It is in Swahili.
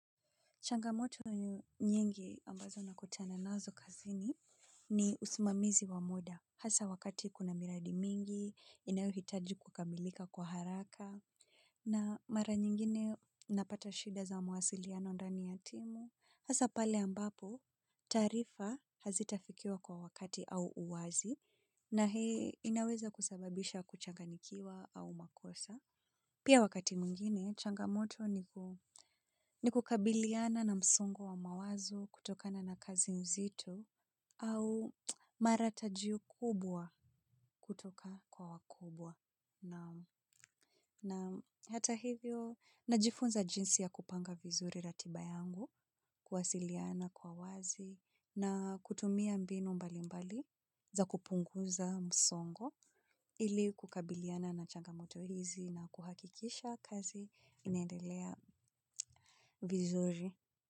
Changamoto nyingi ambazo na kutana nazo kazini ni usimamizi wa muda. Hasa wakati kuna miradi mingi, inayohitaji kukamilika kwa haraka. Na mara nyingine napata shida za mawasiliano ndani ya timu. Hasa pale ambapo taarifa hazitafikiwa kwa wakati au uwazi na hii inaweza kusababisha kuchanganyikiwa au makosa. Pia wakati mwingine, changamoto ni kukabiliana na msongo wa mawazo kutokana na kazi nzito au maratajio kubwa kutoka kwa wakubwa. Na hata hivyo, najifunza jinsi ya kupanga vizuri ratibayangu, kuwasiliana kwa wazi na kutumia mbinu mbali mbali za kupunguza msongo ili kukabiliana na changa moto hizi na kuhakikisha kazi inaedelea vizuri.